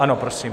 Ano, prosím.